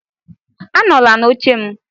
Anọla n'oche m